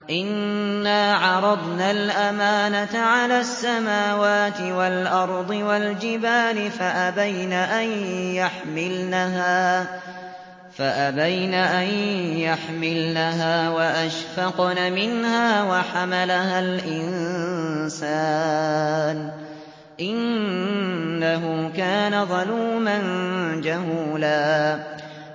إِنَّا عَرَضْنَا الْأَمَانَةَ عَلَى السَّمَاوَاتِ وَالْأَرْضِ وَالْجِبَالِ فَأَبَيْنَ أَن يَحْمِلْنَهَا وَأَشْفَقْنَ مِنْهَا وَحَمَلَهَا الْإِنسَانُ ۖ إِنَّهُ كَانَ ظَلُومًا جَهُولًا